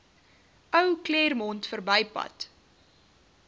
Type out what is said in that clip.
ou claremont verbypad